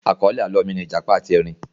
Àkọ́lé àlọ́ mi ni ìjàpá àti erin